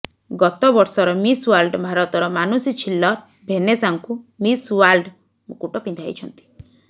ଗତବର୍ଷର miss world ଭାରତର ମାନୁଷୀ ଛିଲ୍ଲର ଭେନେସାଙ୍କୁ ମିସ୍ ୱାର୍ଲଡ ମୁକୁଟ ପିନ୍ଧାଇଛନ୍ତି